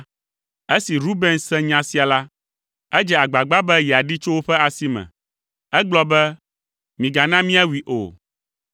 Esi Ruben se nya sia la, edze agbagba be yeaɖee tso woƒe asi me. Egblɔ be, “Migana míawui o.